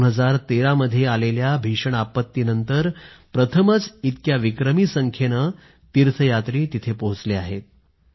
2013 मध्ये आलेल्या भीषण आपत्तीनंतर प्रथमच इतक्या विक्रमी संख्येनं तीर्थयात्री तिथं पोहचले आहेत